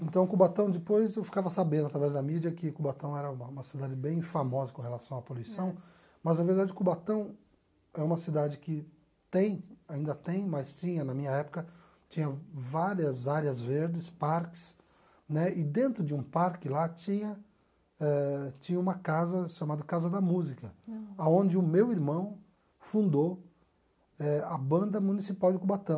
Então Cubatão, depois eu ficava sabendo através da mídia que Cubatão era uma uma cidade bem famosa com relação à poluição, mas na verdade Cubatão é uma cidade que tem, ainda tem, mas tinha na minha época, tinha várias áreas verdes, parques, né, e dentro de um parque lá tinha eh tinha uma casa chamada Casa da Música, onde o meu irmão fundou eh a banda municipal de Cubatão.